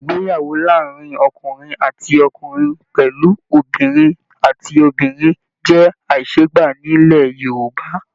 Ìgbéyàwó láàárín ọkùnrin àti ọkùnrin pẹlú Obìnrin àti obìnrin jẹ aiseegba nilẹ̀ Yorùbá.